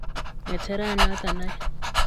Ng'echerochoto aeng.